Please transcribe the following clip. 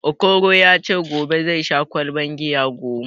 Okoro ya ce gobe zai sha ƙwalban giya goma